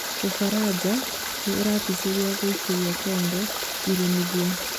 Ũfaraja nĩ ĩraticĩra gũikĩrĩra Congoni irĩmithia